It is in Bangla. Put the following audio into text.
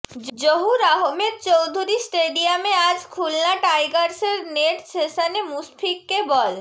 জহুর আহমেদ চৌধুরী স্টেডিয়ামে আজ খুলনা টাইগার্সের নেট সেশনে মুশফিককে বল